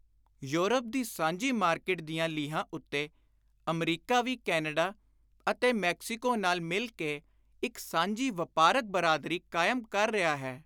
Europe ਦੀ ਸਾਂਝੀ market ਦੀਆਂ ਲੀਹਾਂ ਉੱਤੇ ਅਮਰੀਕਾ ਵੀ ਕੈਨੇਡਾ ਅਤੇ ਮੈਕਸੀਕੋ ਨਾਲ ਮਿਲ ਕੇ ਇਕ ਸਾਂਝੀ ਵਾਪਾਰਕ ਬਰਾਦਰੀ ਕਾਇਮ ਕਰ ਰਿਹਾ ਹੈ।